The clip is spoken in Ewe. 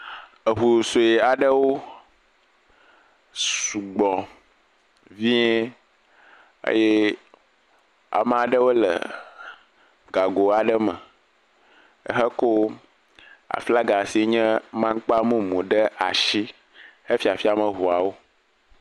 Eŋu sue aɖewo, sugbɔ viẽ eye ama ɖewo le gago aɖe me ehekɔ aflaga asi nye maŋkpa mumu ɖe ashi hefiafiam eŋuawo.